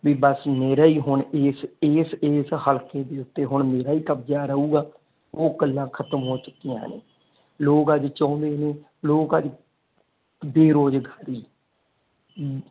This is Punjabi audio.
ਵੀ ਬਸ ਮੇਰਾ ਹੁਣ ਇਸ ਇਸ ਇਸ ਹਲਕੇ ਦੇ ਉੱਤੇ ਹੁਣ ਮੇਰਾ ਹੀ ਕਬਜਾ ਰਹੂਗਾ ਉਹ ਗੱਲਾਂ ਖਤਮ ਹੋ ਚੁੱਕਿਆ ਨੇ ਲੋਕ ਅੱਜ ਚਾਹੁੰਦੇ ਨੇ ਲੋਕ ਅੱਜ ਬੇਰੋਜ਼ਗਾਰੀ